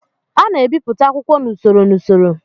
A na-ebipụta akwụkwọ n'usoro n'usoro